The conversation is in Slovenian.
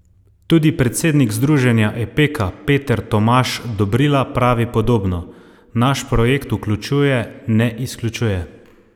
Tudi predsednik združenja Epeka Peter Tomaž Dobrila pravi podobno: "Naš projekt vključuje, ne izključuje.